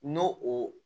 N'o o